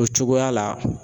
O cogoya la